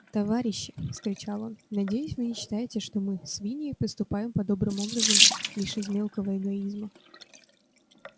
товарищи вскричал он надеюсь вы не считаете что мы свиньи поступаем подобным образом лишь из мелкого эгоизма